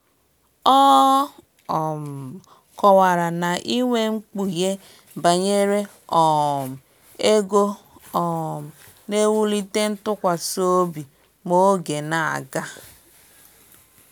Ọ um kọwara na inwe mkpughe banyere um ego um na-ewulite ntụkwasịobi ma oge na-aga